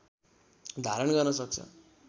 धारण गर्न सक्छ